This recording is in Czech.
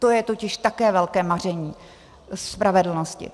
To je totiž také velké maření spravedlnosti.